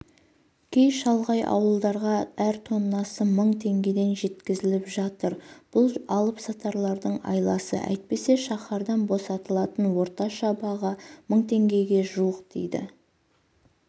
кей шалғай ауылдарға әр тоннасы мың теңгеден жеткізіліп жатыр бұл алып-сатарлардың айласы әйтпесе шахтадан босатылатын орташа баға мың теңгеге жуық дейді